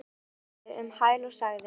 Kollur svaraði um hæl og sagði